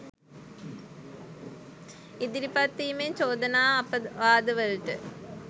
ඉදිරිපත් වීමෙන් චෝදනා අපවාදවලට